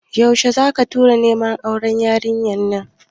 Yaushe zaka tura neman auren yarinyar ne?